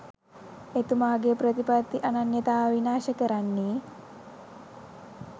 එතුමාගේ ප්‍රතිපත්ති අනන්‍යතාව විනාශ කරන්නේ